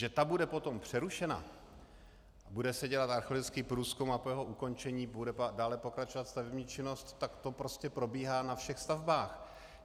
Že ta bude potom přerušena, bude se dělat archeologický průzkum a po jeho ukončení bude dále pokračovat stavební činnost, tak to prostě probíhá na všech stavbách.